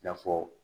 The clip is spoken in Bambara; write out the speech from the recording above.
I n'a fɔ